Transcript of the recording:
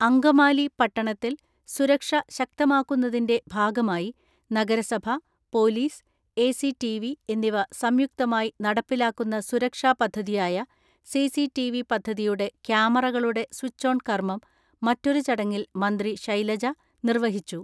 അങ്കമാലി പട്ടണത്തിൽ സുരക്ഷ ശക്തമാക്കുന്നതിന്റെ ഭാഗമായി നഗരസഭ, പോലീസ്, എ.സി.ടി.വി എന്നിവ സംയുക്തമായി നടപ്പിലാക്കുന്ന സുരക്ഷാ പദ്ധതിയായ സി.സി.ടി.വി പദ്ധതിയുടെ ക്യാമറകളുടെ സ്വിച്ച് ഓൺ കർമ്മം മറ്റൊരു ചടങ്ങിൽ മന്ത്രി ശൈലജ നിർവ്വഹിച്ചു.